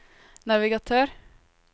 navigatør